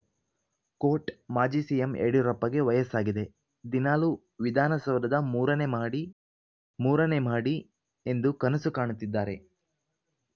coat ಮಾಜಿ CM ಯಡಿಯೂರಪ್ಪಗೆ ವಯಸ್ಸಾಗಿದೆ ದಿನಾಲೂ ವಿಧಾನಸೌಧದ ಮೂರನೇ ಮಹಡಿ ಮೂರನೇ ಮಹಡಿ ಎಂದು ಕನಸು ಕಾಣುತ್ತಿದ್ದಾರೆ